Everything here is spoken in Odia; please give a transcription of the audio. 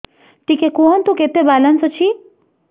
ଟିକେ କୁହନ୍ତୁ କେତେ ବାଲାନ୍ସ ଅଛି